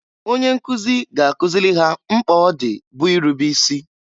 Onye nkụzị ga-akụzịlị ha mkpa ọ dị bụ irube isi.